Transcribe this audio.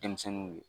Denmisɛnninw ye